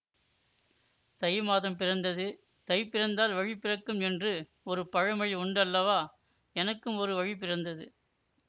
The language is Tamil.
தை மாதம் பிறந்தது தை பிறந்தால் வழி பிறக்கும் என்று ஒரு பழமொழி உண்டு அல்லவா எனக்கும் ஒரு வழிபிறந்தது